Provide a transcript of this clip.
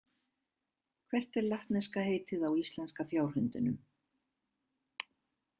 Hvert er latneska heitið á íslenska fjárhundinum?